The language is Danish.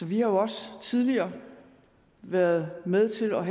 vi har også tidligere været med til at